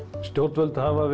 stjörnvöld hafa